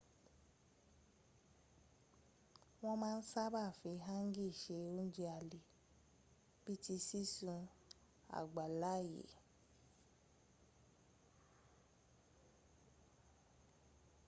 wọn ma n saba fi hangi se ounjẹ alẹ bii ti sisun abalaye